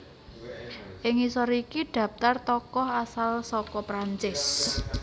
Ing ngisor iki dhaptar tokoh asal saka Prancis